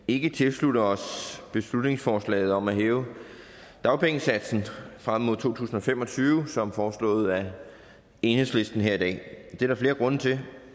ikke tilslutte os beslutningsforslaget om at hæve dagpengesatsen frem mod to tusind og fem og tyve som foreslået af enhedslisten her i dag det er der flere grunde til